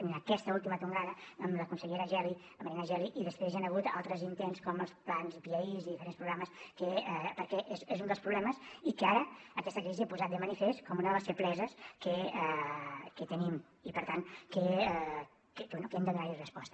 en aquesta última tongada amb la consellera geli la marina geli i després hi ha hagut altres intents com els plans i piais i diferents programes perquè és un dels problemes i que ara aquesta crisi ha posat de manifest com una de les febleses que tenim i per tant que bé que hem de donar hi resposta